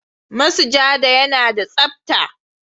Masujada yana da tsapta,